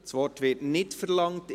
– Das Wort wird nicht verlangt.